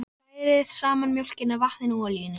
Hrærið saman mjólkinni, vatninu og olíunni.